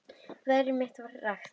Veðrið var milt og rakt.